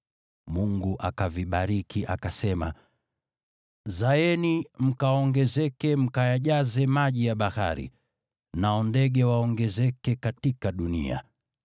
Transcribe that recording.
Mungu akavibariki, akasema, “Zaeni mwongezeke, mkayajaze maji ya bahari, nao ndege waongezeke katika dunia.”